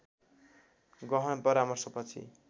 गहन परामर्श पछि